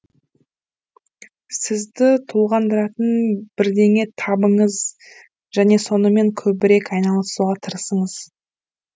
сізді толғандыратын бірдеңе табыңыз және сонымен көбірек айналысуға тырысыңыз